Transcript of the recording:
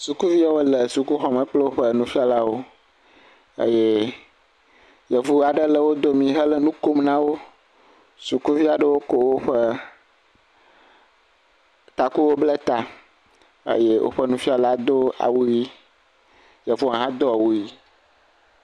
Sukuviawo le sukuxɔme kple woƒe nufialawo eye yevu aɖe le domi eye wole nu kom na wo, sukuvi aɖewo kɔ woƒe taku bla ta eye woƒe nufiala do awu ʋi, yevua hã do awu ʋi